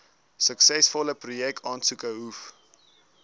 suksesvolle projekaansoeke hoef